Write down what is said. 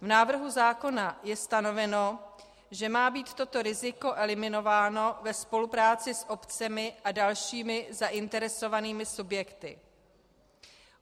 V návrhu zákona je stanoveno, že má být toto riziko eliminováno ve spolupráci s obcemi a dalšími zainteresovanými subjekty.